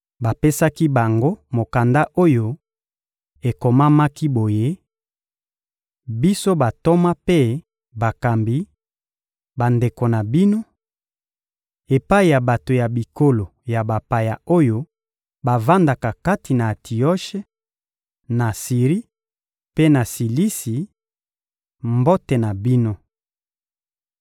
Bapesaki bango mokanda oyo ekomamaki boye: Biso bantoma mpe bakambi, bandeko na bino: Epai ya bato ya bikolo ya bapaya oyo bavandaka kati na Antioshe, na Siri mpe na Silisi; Mbote na bino.